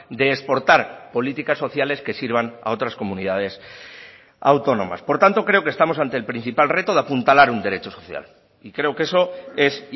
de exportar políticas sociales que sirvan a otras comunidades autónomas por tanto creo que estamos ante el principal reto de apuntalar un derecho social y creo que eso es